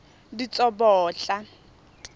ditsobotla